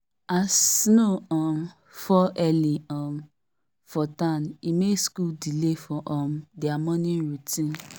as snow um fall early um for town e make school delay for um their morning routine.